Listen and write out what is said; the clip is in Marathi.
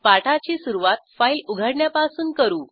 पाठाची सुरूवात फाईल उघडण्यापासून करू